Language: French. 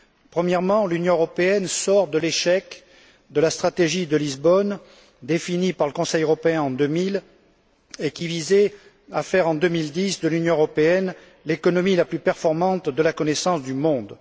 Premièrement, l'Union européenne sort de l'échec de la stratégie de Lisbonne, définie par le Conseil européen en 2000, et qui visait à faire de l'Union européenne en 2010 l'économie de la connaissance du monde.